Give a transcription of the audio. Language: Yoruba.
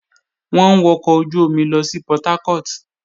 Wọ́n ń wọkọ̀ ojú-omi lọ sí Portharcourt